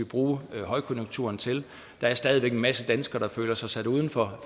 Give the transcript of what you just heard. bruge højkonjunkturen til der er stadig væk en masse danskere der føler sig sat uden for